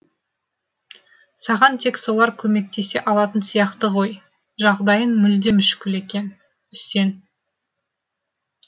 саған тек солар көмектесе алатын сияқты ғой жағдайың мүлде мүшкіл екен үсен